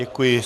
Děkuji.